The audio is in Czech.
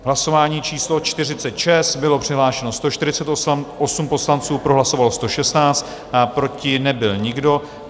Hlasování číslo 46, bylo přihlášeno 148 poslanců, pro hlasovalo 116, proti nebyl nikdo.